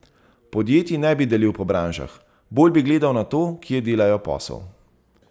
Podjetij ne bi delil po branžah, bolj bi gledal na to, kje delajo posel.